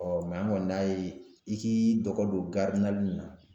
Ɔ an kɔni y'a ye i k'i dɔgɔ don in na